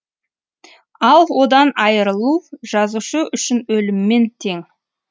ал одан айырылу жазушы үшін өліммен тең